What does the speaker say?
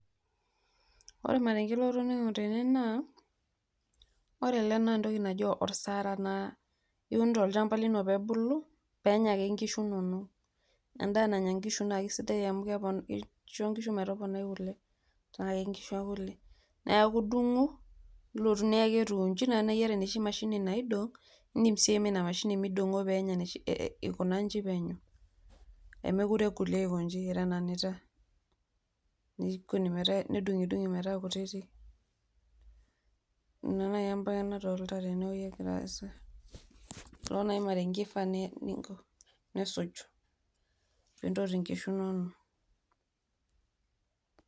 Ore ormarenke latoning'o tene naa, ore ele na entoki naji osaara la, iun tolchamba lino pebulu, penya ake nkishu nonok. Endaa nanya nkishu na kesidai amu kisho nkishu metoponai kule. Tenaa kenkishu ekule. Neeku dung'u, nilotu niyaki etiu iji, na teniata enoshi mashini naidong',idim si aimie ina mashini midong'o penya enoshi ikunaji penyo. Emekure egol aikoji etananita. Nedung'idung'i metaa kutitik. Ina nai ebae nadolta tenewei egira aasa. Ilo nai marenke ifaa ninko nisuj pintoti nkishu nonok.